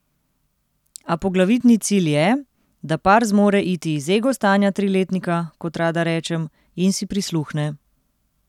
A poglavitni cilj je, da par zmore iti iz ego stanja triletnika, kot rada rečem, in si prisluhne.